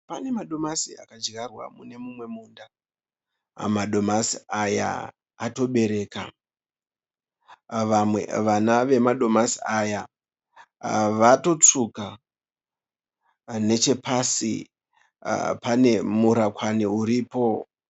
Pane madomasi akadyarwa mune mumwe munda. Madomasi aya atobereka. Vamwe vana vemadomasi aya vatotsvuka. Nechepasi pane murakwani uripo.